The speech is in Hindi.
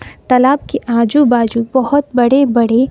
तालाब के आजू बाजू बहोत बड़े बड़े--